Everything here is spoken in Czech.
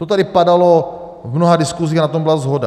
To tady padalo v mnoha diskusích a na tom byla shoda.